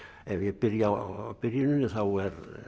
ef ég byrja á byrjuninni þá